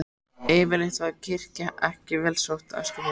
Yfirleitt var kirkja ekki vel sótt á Eskifirði.